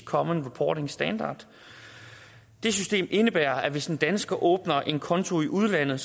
common reporting standard det system indebærer at hvis en dansker åbner en konto i udlandet